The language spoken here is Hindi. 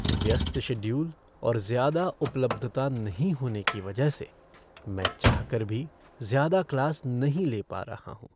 व्यस्त शेड्यूल और ज़्यादा उपलब्धता नहीं होने की वजह से, मैं चाहकर भी ज्यादा क्लास नहीं ले पा रहा हूँ।